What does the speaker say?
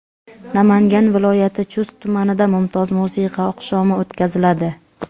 Namangan viloyati Chust tumanida mumtoz musiqa oqshomi o‘tkaziladi.